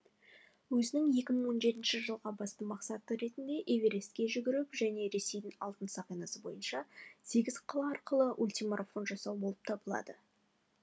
өзінің екі мың он жетінші жылға басты мақсаты ретінде эверестке жүгіру және ресейдің алтын сақинасы бойынша сегіз қала арқылы ультимарафон жасау болып табылады